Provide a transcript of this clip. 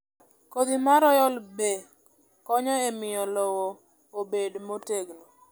Kodhi mar Royal bee konyo e miyo lowo obed motegno.